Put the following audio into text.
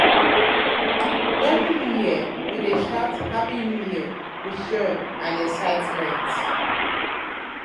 during new year we dey shout "happy new year!" with joy and excitement.